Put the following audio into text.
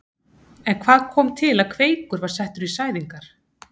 En hvað kom til að Kveikur var settur í sæðingar?